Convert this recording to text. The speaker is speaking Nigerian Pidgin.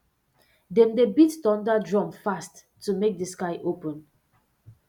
dem dey beat thunder drum fast to make the sky open